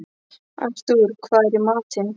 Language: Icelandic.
Artúr, hvað er í matinn?